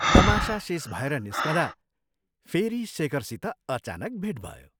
तमाशा शेष भएर निस्कँदा फेरि शेखरसित अचानक भेट भयो।